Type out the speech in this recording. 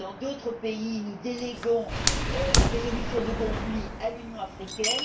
Dans d'autres pays, nous déléguons la résolution des conflits à l'Union africaine.